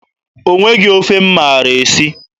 O nweghị ofe m maara esi.